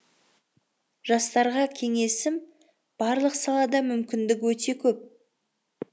жастарға кеңесім барлық салада мүмкіндік өте көп